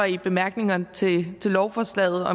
i bemærkningerne til lovforslaget